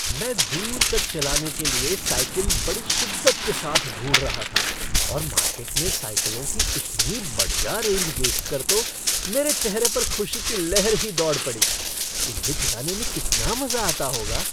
मैं दूर तक चलाने के लिए साइकिल बड़ी शिद्दत के साथ ढूंढ रहा था और मार्केट में साइकिलों की इतनी बढ़िया रेंज देखकर तो मेरे चेहरे पर खुशी की लहर ही दौड़ पड़ी, इन्हें चलाने में कितना मज़ा आता होगा।